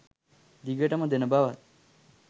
දිගටම දෙන බවත්